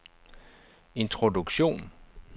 introduktion